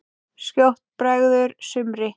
Skjótt bregður sumri.